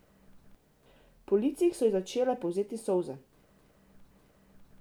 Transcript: Po licih so ji začele polzeti solze.